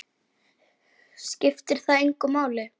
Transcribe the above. Skiptir það engu máli?